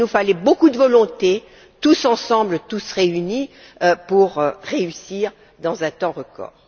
Il nous a fallu beaucoup de volonté, tous ensemble, tous réunis, pour réussir en un temps record.